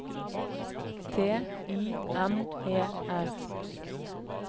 T I M E R